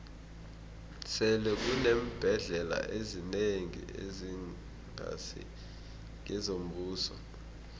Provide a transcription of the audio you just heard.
sele kuneembhendlela ezinengi ezingasi ngezombuso